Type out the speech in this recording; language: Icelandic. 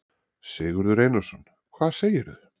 Sigurður Einarsson: Hvað segirðu?